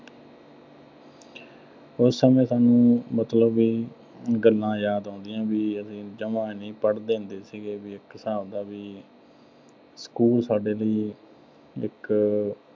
ਤੇ ਉਸ ਸਮੇਂ ਦੀਆਂ ਸਾਨੂੰ ਵੀ ਗੱਲਾਂ ਯਾਦ ਆਉਂਦੀਆਂ ਵੀ ਅਸੀਂ ਜਮਾ ਨੀਂ ਪੜ੍ਹਦੇ ਹੁੰਦ ਸੀਗੇ, ਵੀ ਇੱਕ ਹਿਸਾਬ ਦਾ ਵੀ school ਸਾਡੇ ਲਈ ਇੱਕ